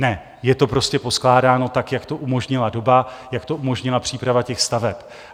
Ne, je to prostě poskládáno tak, jak to umožnila doba, jak to umožnila příprava těch staveb.